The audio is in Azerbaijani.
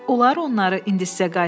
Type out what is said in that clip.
Olar, onları indi sizə qaytarım?